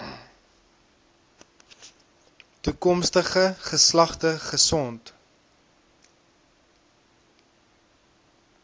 toekomstige geslagte gesond